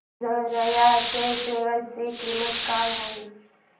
तिजारिया च्या शेअर ची किंमत काय आहे